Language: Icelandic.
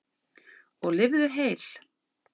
Og lifðu heil!